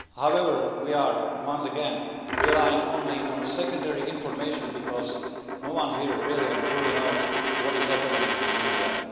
However, we are once again relying only on secondary information because no one here really and truly knows what is happening in India.